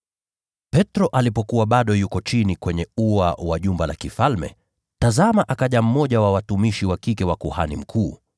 Petro alipokuwa bado yuko chini kwenye ua wa jumba la kifalme, tazama akaja mmoja wa watumishi wa kike wa kuhani mkuu.